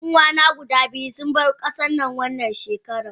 Yan uwana guda biyu sun bar kasannan wannan shekaran.